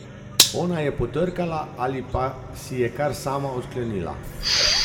Ona je potrkala ali pa si je kar sama odklenila.